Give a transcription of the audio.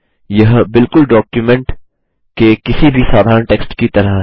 यह बिलकुल डॉक्युमेंट के किसी भी साधारण टेक्स्ट की तरह है